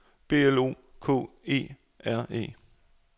B L O K E R E